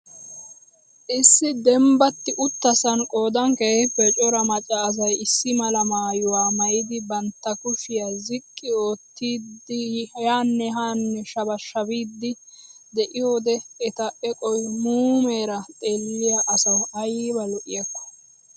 Issi dembbatti uttasan qodan keehippe cora macca asay issi mala maayuwa maayidi bantta kushshiya ziqqi oottidi yaane haane shabaashabiidi de'iyoode eta eqoy muumeera xeelliya asawu ayba lo'iyakko.